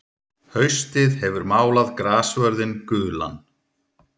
Haustið hefur málað grassvörðinn gulan.